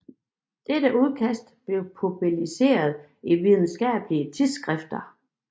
Dette udkast blev publiceret i videnskabelige tidsskrifter